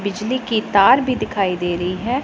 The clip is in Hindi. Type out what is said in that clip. बिजली के तार भी दिखाई दे रही है।